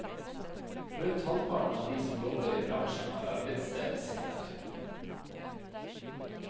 Rundt halvparten av de som jobber i bransjen har arbeidsstedet sitt der.